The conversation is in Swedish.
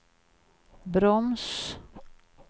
broms